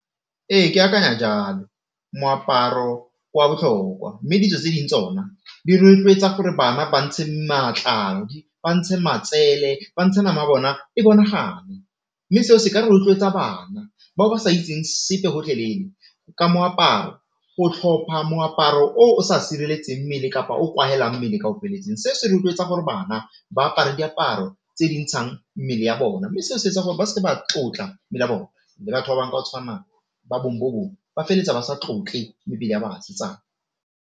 Ee, ke akanya jalo moaparo kwa botlhokwa mme ditso tse ding tsona di rotloetsa gore bana ba ntshe matlalo, ba ntshe matsele, ba ntshe nama ya bona e bonagale, mme seo se ka rotloetsa bana ba ba sa itseng sepe gotlhelele ka moaparo o tlhopha moaparo o o sa sireletseng mmele kapa o kwalelang mmele ka ofeletseng. Se se rotloetsa gore bana ba apare diaparo tse di ntshang mmele ya bona, mme seo se etsa gore ba seke ba tlotla le rona le batho ba bangwe ba o tshwana ba bong bo bong ba feletsa ba sa tlotle mmele ya basetsana.